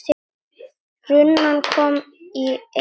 Runan kom í einu lagi.